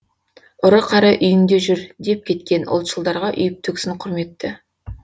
ұры қары үйіңде жүр деп кеткен ұлтшылдарға үйіп төксін құрметті